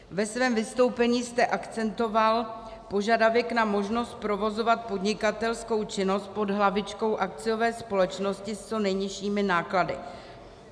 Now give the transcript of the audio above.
Ve svém vystoupení jste akcentoval požadavek na možnost provozovat podnikatelskou činnost pod hlavičkou akciové společnosti s co nejnižšími náklady.